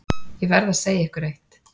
Ég verð að segja ykkur eitt.